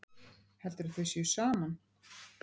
Heldurðu að þau séu saman?